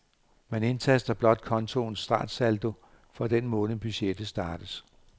Man indtaster blot kontoens startsaldo for den måned budgettet startes.